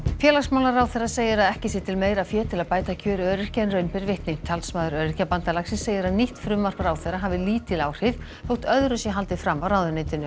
félagsmálaráðherra segir að ekki sé til meira fé til að bæta kjör öryrkja en raun ber vitni talsmaður Öryrkjabandalagsins segir að nýtt frumvarp ráðherra hafi lítil áhrif þótt öðru sé haldið fram af ráðuneytinu